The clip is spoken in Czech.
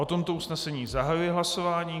O tomto usnesení zahajuji hlasování.